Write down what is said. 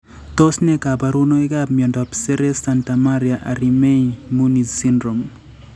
Tos ne kaborunoikap miondop Seres Santamaria Arimany Muniz syndrome?